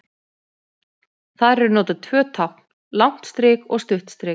Þar eru notuð tvö tákn, langt strik og stutt strik.